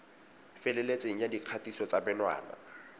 feleletseng ya dikgatiso tsa menwana